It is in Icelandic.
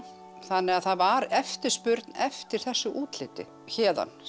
þannig að það var eftirspurn eftir þessu útliti héðan